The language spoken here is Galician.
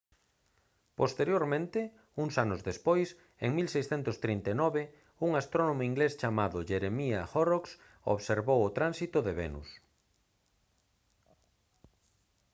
posteriormente uns anos despois en 1639 un astrónomo inglés chamado jeremiah horrocks observou o tránsito de venus